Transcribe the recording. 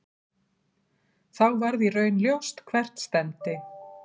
Þá varð í raun ljóst hvert stefndi.